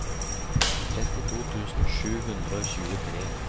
trettito tusen sju hundre og tjuetre